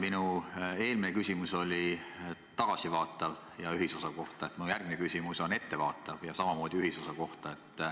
Minu eelmine küsimus oli tagasivaatav ja ühisosa kohta, mu järgmine küsimus on ettevaatav ja samamoodi ühisosa kohta.